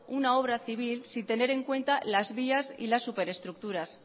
una obra civil sin tener en cuenta las vías y las superestructuras